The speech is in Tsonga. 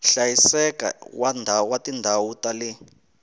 hlayiseka wa tindhawu ta le